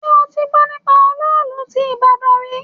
Ṣé o ti gbọ́ nípa olóòlù ti ìbàdàn rí?